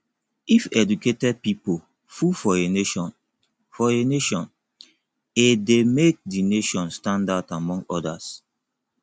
if educated pipo full for a nation for a nation a de make di nation stand out among others